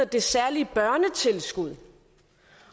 det særlige børnetilskud